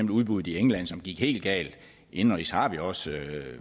udbuddet i england som gik helt galt indenrigs har vi også